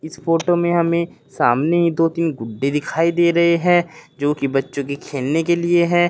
इस फोटो में हमें सामने दो तीन गुड्डे दिखाई दे रहे हैं जो कि बच्चों की खेलने के लिए हैं।